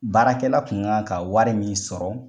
Baarakɛla kun kan ka wari min sɔrɔ